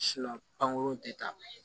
panko te taa